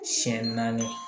Siɲɛ naani